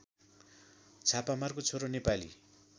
छापामारको छोरो नेपाली